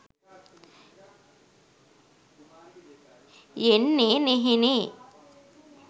යෙන්නේ නෙහෙනේ.